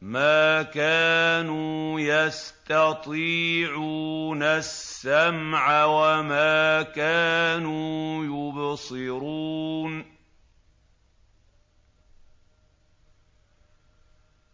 مَا كَانُوا يَسْتَطِيعُونَ السَّمْعَ وَمَا كَانُوا يُبْصِرُونَ